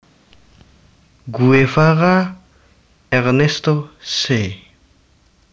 Guevara Ernesto Che